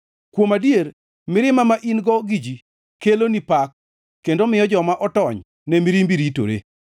Kuom adier, mirima ma in-go gi ji, keloni pak, kendo miyo joma otony ne mirimbi ritore.